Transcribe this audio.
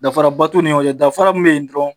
Danfaraba t'u nin ɲɔgɔn cɛ danfara min be yen dɔrɔn